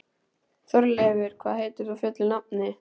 Þórleifur, hvað heitir þú fullu nafni?